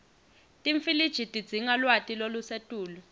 timfiliji tidzinga lwati lolusetulu